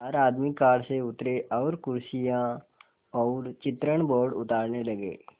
चार आदमी कार से उतरे और कुर्सियाँ और चित्रण बोर्ड उतारने लगे